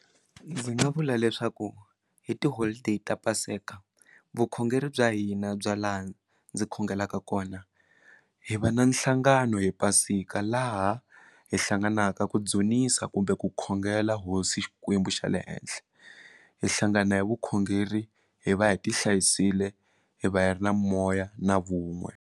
Ndzi nga vula leswaku hi tiholideyi ta paseka vukhongeri bya hina bya laha ndzi khongelaka kona hi va na nhlangano hi pasika laha hi hlanganaka ku dzunisa kumbe ku khongela Hosi Xikwembu xa le henhla hi hlangana hi vukhongeri hi va hi ti hlayisile hi va hi ri na moya na vun'we.